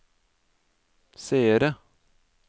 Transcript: seere